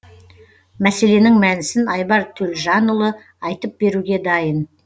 мәселенің мәнісін айбар төлжанұлы айтып беруге дайын